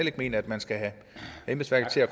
ikke mener at man skal have embedsværket til at